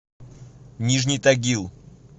нижний тагил